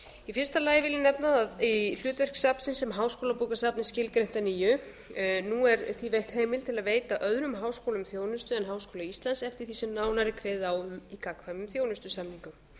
í fyrsta lagi vil ég nefna að hlutverk safnsins sem háskólabókasafn er skilgreint að nýju nú er því veitt heimild til að veita öðrum háskólum þjónustu en háskóla íslands eftir því sem nánar er kveðið á um í gagnkvæmum þjónustusamningum